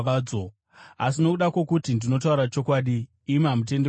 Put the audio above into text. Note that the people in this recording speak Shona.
Asi nokuda kwokuti ndinotaura chokwadi, imi hamutendi kwandiri!